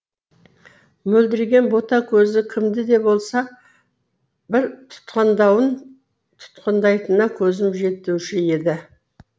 мөлдіреген бота көзі кімді де болса бір тұтқындауын тұтқындайтынына көзім жетуші еді